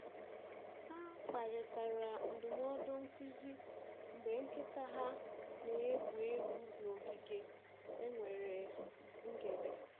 Ha kparịtara ndụmọdụ nkuzi mgbe nkịta ha na-egwu egwu n’ogige e nwere ngere.